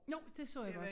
Jo det så jeg godt